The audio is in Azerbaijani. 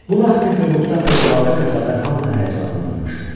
Bu vaxt Peterburqda fövqəladə bir xəbər hamını həyəcanlandırmışdı.